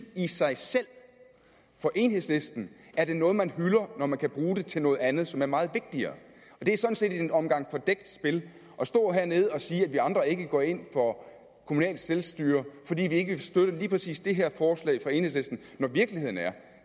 i sig selv for enhedslisten er det noget man hylder når man kan bruge det til noget andet som er meget vigtigere det er sådan set en omgang fordækt spil at stå hernede og sige at vi andre ikke går ind for kommunalt selvstyre fordi vi ikke vil støtte lige præcis det her forslag fra enhedslisten når virkeligheden er